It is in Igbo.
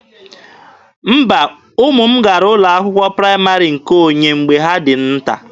Mba, ụmụ m gara ụlọ akwụkwọ praịmarị nke onye mgbe ha dị nta.